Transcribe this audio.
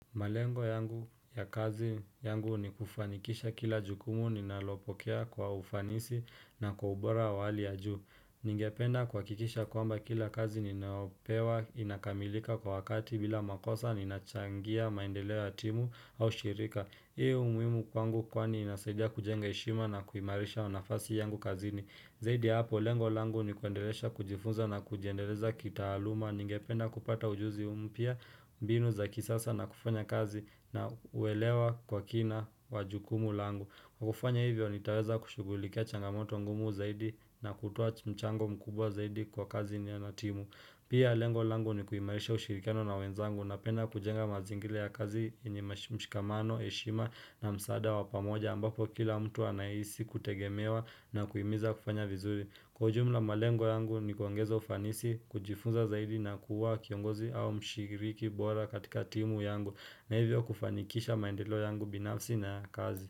Malengo yangu ya kazi yangu ni kufanikisha kila jukumu ninalopokea kwa ufanisi na kwa ubora wa hali ya juu. Ningependa kuhakikisha kwamba kila kazi ninayopewa inakamilika kwa wakati bila makosa ninachangia maendeleo ya timu au shirika. Hii umuhimu kwangu kwani inasaidia kujenga heshima na kuimarisha nafasi yangu kazini. Zaidi hapo, lengo langu ni kuendelesha kujifunza na kujiendeleza kitaaluma, ningependa kupata ujuzi mpya, mbinu za kisasa na kufanya kazi na uelewa kwa kina wa jukumu langu. Kufanya hivyo, nitaweza kushugulikia changamoto ngumu zaidi na kutoa mchango mkubwa zaidi kwa kazi yenyewena timu. Pia lengo langu ni kuimarisha ushirikano na wenzangu na penda kujenga mazingira ya kazi yenye mshikamano, heshima na msaada wa pamoja ambapo kila mtu anahisi kutegemewa na kuhimiza kufanya vizuri. Kwa ujumla malengo yangu ni kuongeza ufanisi, kujifunza zaidi na kuwa kiongozi au mshiriki bora katika timu yangu na hivyo kufanikisha maendeleo yangu binafsi na kazi.